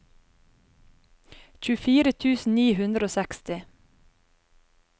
tjuefire tusen ni hundre og seksti